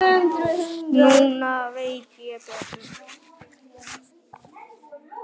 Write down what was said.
Núna veit ég betur.